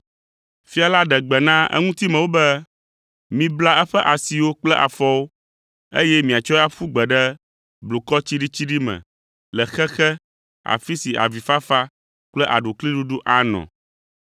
“Fia la ɖe gbe na eŋutimewo be, ‘Mibla eƒe asiwo kple afɔwo, eye miatsɔe aƒu gbe ɖe blukɔ tsiɖitsiɖi me le xexe, afi si avifafa kple aɖukliɖuɖu anɔ,’